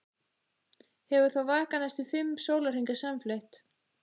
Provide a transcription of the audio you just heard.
Hefur þá vakað næstum fimm sólarhringa samfleytt.